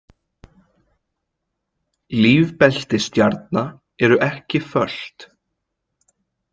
Lífbelti stjarna eru ekki föst.